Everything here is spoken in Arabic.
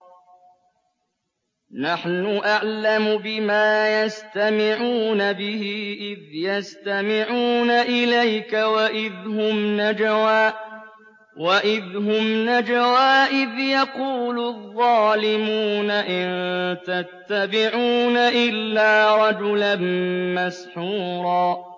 نَّحْنُ أَعْلَمُ بِمَا يَسْتَمِعُونَ بِهِ إِذْ يَسْتَمِعُونَ إِلَيْكَ وَإِذْ هُمْ نَجْوَىٰ إِذْ يَقُولُ الظَّالِمُونَ إِن تَتَّبِعُونَ إِلَّا رَجُلًا مَّسْحُورًا